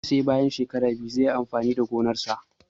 Ya ce sai bayan shekara biyu zai yi amfani da gonar shi.